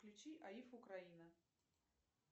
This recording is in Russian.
включи аиф украина